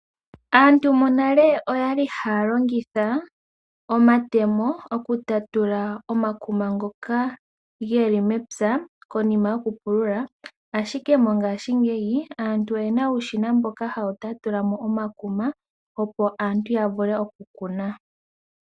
Aantu monale oyali haa longitha omatemo okutatula omakuma ngoka geli mepya konima yokupulula, ashike mongaashi ngeyi aantu oyena uushina mboka hawu tatulamo omakuma opo aantu yavule okukuna.